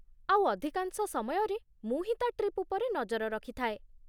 ଆଉ, ଅଧିକାଂଶ ସମୟରେ ମୁଁ ହିଁ ତା' ଟ୍ରିପ୍ ଉପରେ ନଜର ରଖିଥାଏ ।